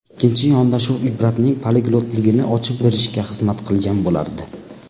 Ikkinchi yondashuv Ibratning poliglotligini ochib berishga xizmat qilgan bo‘lardi.